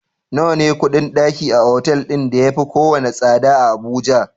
Nawa ne kuɗin ɗaki a otal ɗin ya yafi kowane tsada a Abuja?